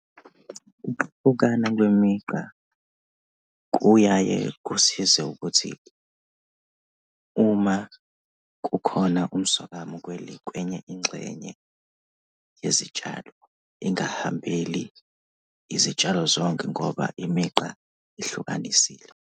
Kwemigqa kuyaye kusize ukuthi uma kukhona umsokamo kwenye ingxenye yezitshalo, ingahambeli izitshalo zonke ngoba imigqa ihlukanisile.